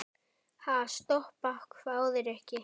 Ha, stoppa? hváði Rikka.